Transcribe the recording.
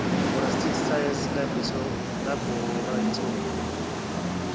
forensic science laboratory